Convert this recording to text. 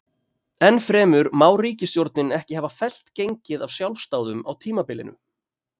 Enn fremur má ríkisstjórnin ekki hafa fellt gengið af sjálfsdáðum á tímabilinu.